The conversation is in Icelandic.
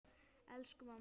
Elsku mamma!